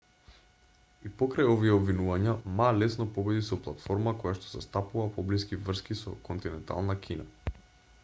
и покрај овие обвинувања ма лесно победи со платформа којашто застапува поблиски врски со континентална кина